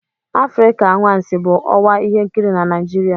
Afrịka anwansi bụ ọwa ihe nkiri na Nigeria.